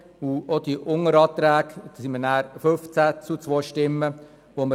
Auch die Unteranträge lehnten wir mit 15 zu 2 Stimmen ab.